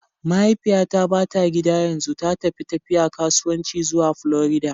Mahaifiyata ba ta gida yanzu, ta tafi tafiya kasuwanci zuwa Florida.